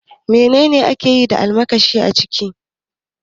Me akeyi da almakashi a kici?